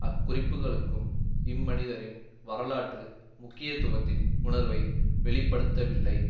அக்குறிப்புக்களும் இம்மனிதரின் வரலாற்று முக்கியத்துவத்தின் உணர்வை வெளிப்படுத்தவில்லை